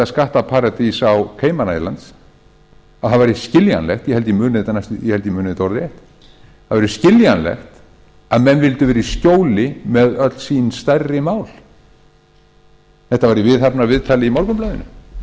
skattaparadís á island að það væri skiljanlegt ég held að ég muni þetta orðrétt að menn vildu vera í skjóli með öll sín stærri mál þetta var í viðhafnarviðtali í morgunblaðinu